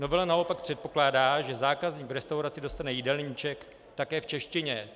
Novela naopak předpokládá, že zákazník v restauraci dostane jídelníček také v češtině.